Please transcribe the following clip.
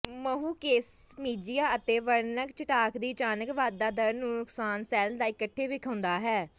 ਮਹੁਕੇਸਮਿਝਆ ਅਤੇ ਵਰਣਕ ਚਟਾਕ ਦੀ ਅਚਾਨਕ ਵਾਧਾ ਦਰ ਨੂੰ ਨੁਕਸਾਨ ਸੈੱਲ ਦਾ ਇਕੱਠੇ ਵੇਖਾਉਦਾ ਹੈ